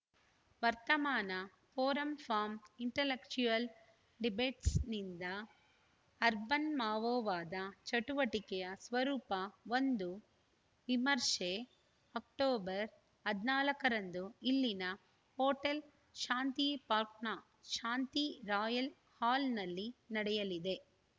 ವರ್ತಮಾನ forum for intellectual ಡಿಬೆಟ್ಸ್‌ನಿಂದ urban ಮಾವೋವಾದ ಚಟುವಟಿಕೆಯ ಸ್ವರೂಪ ಒಂದು ವಿಮರ್ಶೆ ಅಕ್ಟೋಬರ್ ಹದಿನಾಲ್ಕರಂದು ಇಲ್ಲಿನ ಹೋಟೆಲ್‌ ಶಾಂತಿ ಪಾರ್ಕ್ನ ಶಾಂತಿ ರಾಯಲ್‌ ಹಾಲ್‌ನಲ್ಲಿ ನಡೆಯಲಿದೆ